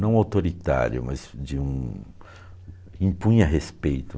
Não autoritário, mas de um... impunha respeito.